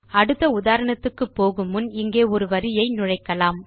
அடுத்த உதாரணத்துக்கு போகு முன் இங்கே ஒரு வரியை நுழைக்கலாம்